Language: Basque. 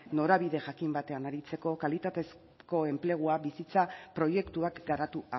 norabide jakin batean aritzeko kalitatezko enplegua bizitza proiektuak garatu